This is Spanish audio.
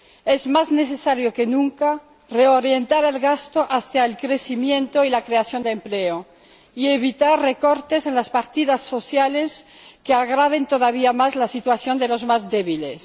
Es más necesario que nunca reorientar el gasto hacia el crecimiento y la creación de empleo, y evitar recortes en las partidas sociales que agraven todavía más la situación de los más débiles.